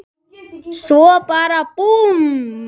Svo bara búmm.